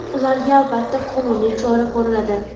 Ularga, albatta, qonuniy chora ko‘riladi.